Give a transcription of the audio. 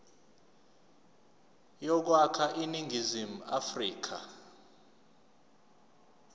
yokwakha iningizimu afrika